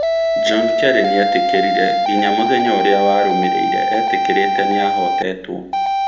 John Kerry nĩ eetĩkĩrire nginya mũthenya ũrĩa warũmĩrĩire etĩkĩrĩke niahotetwo.